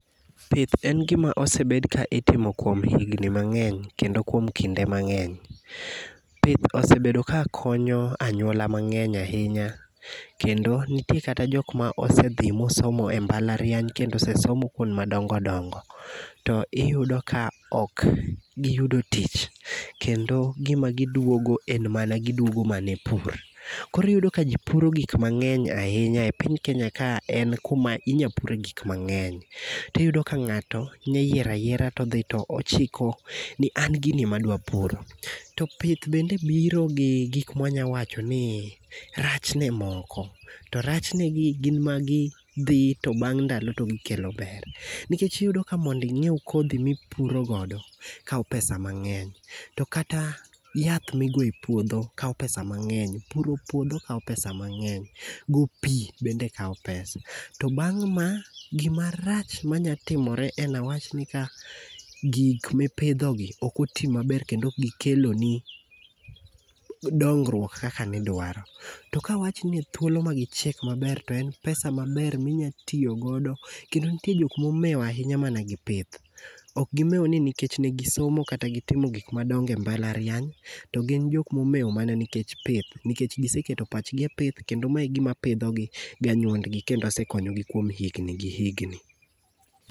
Pith en gima osebed ka itimo kuom higni mang'eny kendo kuom kinde mang'eny. Pith osebedo ka konyo anyuola mang'eny ahinya. Kendo nitie kata jok ma osedhi mosomo e mbalariany kendo osesomo kwond madongo dongo. To iyudo ka ok giyudo tich. Kendo gima gidwogo en mana gidwogo mana e pur. Koro iyudo ka ji puro gik mang'eny ahinya e piny Kenya ka, en kuma inya pure gik mang'eny. Tiyudo ka ng'ato nyayiero ayiera todhi to ochiko ni ''an gini madwa puro''. To pith bende biro gi gik mwa nya wacho ni rachne moko. To rachnegi gin magi dhi to bang' ndalo to gikelo ber. Nikech iyudo ka mondo inyiew kodhi mipuro godo kawo pesa mang'eny. To kata yath migoyo e puodho kawo pesa mang'eny. Puro puodho kawo pesa mang'eny. Go pi bende kawo pesa[c]. To bang' ma, gimarach manya timore, en awach ni ka gik mipidhogi ok oti maber, kendo ok gikeloni dongruok kaka nidwaro. To kawach ni thuolo magichiek maber to en pesa maber minya tiyo godo, kendo nitie jok momew ahinya mana gi pith. Ok gimew ni nikech negisomo kata gitimo gik madongo e mbalariany, to gin jok momew mana nikech pith, nikech giseketo pachgi e pith kendo mae e gima pidhogi gi anyuondgi kendo asekonyogi kuom higni gi higni.